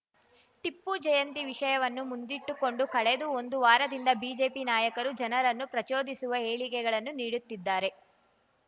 ಟಿಪ್ಪು ಜಯಂತಿ ವಿಷಯವನ್ನು ಮುಂದಿಟ್ಟುಕೊಂಡು ಕಳೆದ ಒಂದು ವಾರದಿಂದ ಬಿಜೆಪಿ ನಾಯಕರು ಜನರನ್ನು ಪ್ರಚೋದಿಸುವ ಹೇಳಿಕೆಗಳನ್ನು ನೀಡುತ್ತಿದ್ದಾರೆ